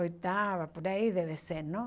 Oitava, por aí deve ser, não?